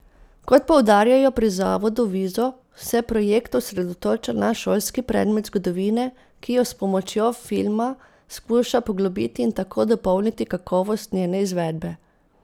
Kot poudarjajo pri zavodu Vizo, se projekt osredotoča na šolski predmet zgodovine, ki jo s pomočjo filma skuša poglobiti in tako dopolniti kakovost njene izvedbe.